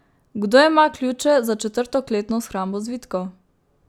Kdo ima ključe za četrto kletno shrambo zvitkov?